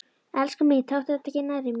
Elskan mín, taktu þetta ekki nærri þér.